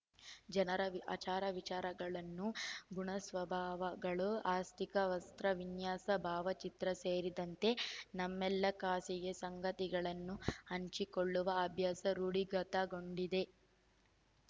ಜನರ ವಿ ಆಚಾರವಿಚಾರಗಳು ಗುಣಸ್ವಭಾವಗಳು ಆಸ್ಥಿಕ ವಸ್ತ್ರವಿನ್ಯಾಸ ಭಾವಚಿತ್ರ ಸೇರಿದಂತೆ ನಮ್ಮೆಲ್ಲ ಖಾಸಗಿ ಸಂಗತಿಗಳನ್ನು ಹಂಚಿಕೊಳ್ಳುವ ಅಭ್ಯಸ ರೂಢಿಗತಗೊಂಡಿದೆ